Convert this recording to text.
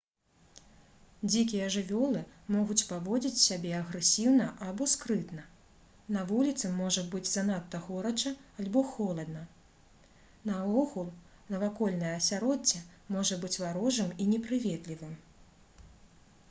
дзікія жывёлы могуць паводзіць сябе агрэсіўна або скрытна на вуліцы можа быць занадта горача альбо халодна наогул навакольнае асяроддзе можа быць варожым і непрыветлівым